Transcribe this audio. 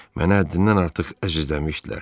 Mənə həddindən artıq əzizləmişdilər.